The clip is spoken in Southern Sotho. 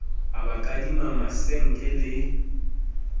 a ba kadima masenke le